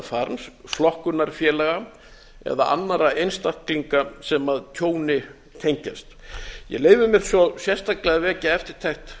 farms flokkunarfélaga eða annarra einstaklinga sem tjóni tengjast ég leyfi mér svo sérstaklega að vekja eftirtekt